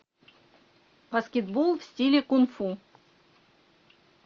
баскетбол в стиле кунг фу